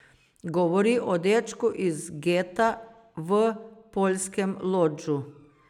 Govori o dečku iz geta v poljskem Lodžu.